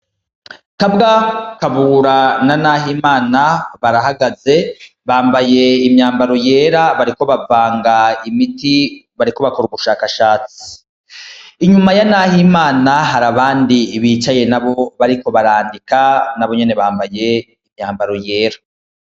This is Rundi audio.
Kabwa kabura na nahe imana barahagaze bambaye imyambaro yera bariko bavanga imiti bariko bakora ubushakashatsi inyuma ya, naho imana hari abandi ibicaye na bo bariko barandika nabo nyene bambaye imyambaro yera.